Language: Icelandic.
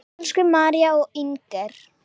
Elsku María og Inger.